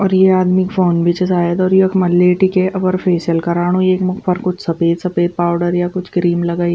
और ये आदमी क फ़ोन भी च सायद और यख्मा लेटिके अपर फेसिअल कराणु येक मुख पर कुछ सफ़ेद-सफ़ेद पाउडर या कुछ क्रीम लगाईं।